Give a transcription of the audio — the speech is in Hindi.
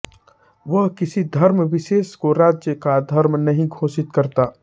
वह किसी धर्मविशेष को राज्य का धर्म नहीं घोषित करता